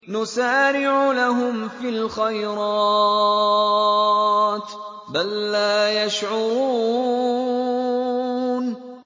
نُسَارِعُ لَهُمْ فِي الْخَيْرَاتِ ۚ بَل لَّا يَشْعُرُونَ